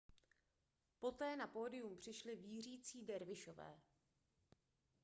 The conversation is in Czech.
poté na pódium přišli vířící dervišové